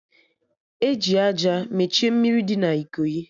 Eji àjà mechie mmiri dị na Ikoyi